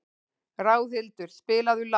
Ráðhildur, spilaðu lag.